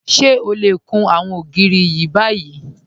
Ṣé ọ lẹ kún àwọn ogìrì ni báyì?